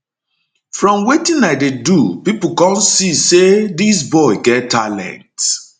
from wetin i dey do pipo come see say dis boy get talent